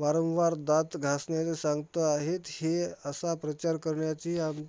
वारंवार दात घासण्याचे सांगतं आहेत, हे असा प्रचार करण्याची आम्ही